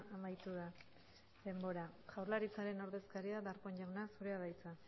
amaitu da denbora jaurlaritzaren ordezkaria darpón jauna zurea da hitza